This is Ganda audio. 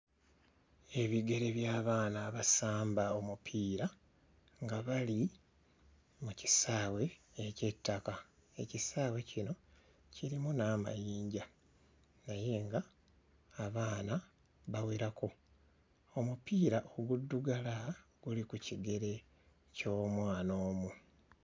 Ebigere by'abaana abasamba omupiira nga bali mu kisaawe eky'ettaka. Ekisaawe kino kirimu n'amayinja naye nga abaana bawerako omupiira oguddugala guli ku kigere ky'omwana omu.